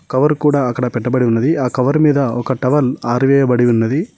Cover కూడా అక్కడ పెట్టబడి ఉన్నది ఆ కవర్ మీద ఒక టవల్ ఆరివేయబడి ఉన్నది.